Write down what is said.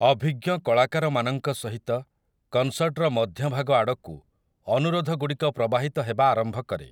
ଅଭିଜ୍ଞ କଳାକାରମାନଙ୍କ ସହିତ, କନସର୍ଟର ମଧ୍ୟଭାଗଆଡ଼କୁ, ଅନୁରୋଧଗୁଡ଼ିକ ପ୍ରବାହିତ ହେବା ଆରମ୍ଭ କରେ ।